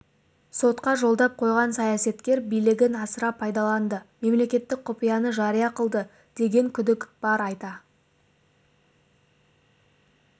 сотқа жолдап қойған саясаткер билігін асыра пайдаланды мемлекеттік құпияны жария қылды деген күдік бар айта